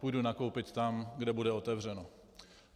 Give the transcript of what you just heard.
Půjdu nakoupit tam, kde bude otevřeno.